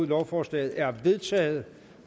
lovforslaget er vedtaget